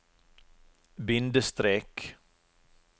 bindestrek